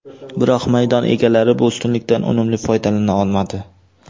Biroq maydon egalari bu ustunlikdan unumli foydalana olmadi.